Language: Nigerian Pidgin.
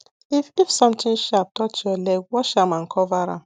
if if something sharp touch your leg wash am and cover am